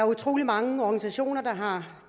utrolig mange organisationer der har